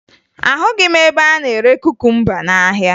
Ahụghị m ebe a na-ere kukumba n'ahịa